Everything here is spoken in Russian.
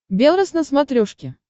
белрос на смотрешке